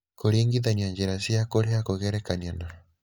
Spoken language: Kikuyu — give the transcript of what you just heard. Kũringithania njĩra cia kũrĩha kũgerekania na: